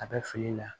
A bɛ fili la